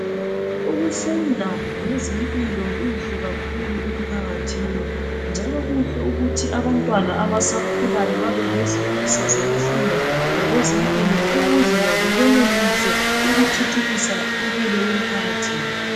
ukufunda ngezempilo kuhle kakhulu emphakathini njalo kuhle ukuthi abantwana abasakhulayo babelezifiso zoukufunda ngezempilo ukuze labo benelise ukuthuthukisa impilo yemphakathi yabo